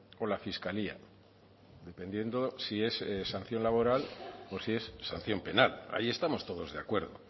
o la fiscalía dependiendo si es sanción laboral o si es sanción penal ahí estamos todos de acuerdo